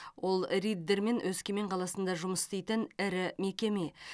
ол риддер мен өскемен қаласында жұмыс істейтін ірі мекеме